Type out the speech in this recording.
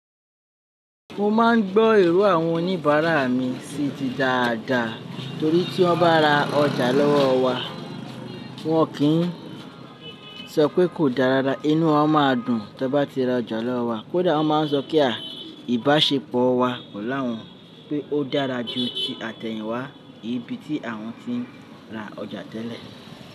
Mo má ń gbọ́ ìró àwọn oníbàrà mi sii dídáadá nítorí tí wọn bá ra ọjà lọ́wọ́ wa wọn kì n sọpé kò dára inú wọn máa dùn. Tí wọn bá ti ra ọjà lọ́wọ́ wa kódà wọn máa ń sọ pé ah, ìbáṣepọ̀ wa pẹ̀lú àwọn pé ó dára jù tí àtẹ̀hìnwá ibi tí àwọn tí ń rà ọjà tẹ́lẹ̀.